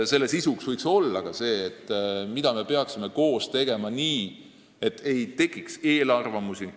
Nende sisu võiks olla ka see, mida me peaksime koos tegema nii, et ei tekiks eelarvamusi.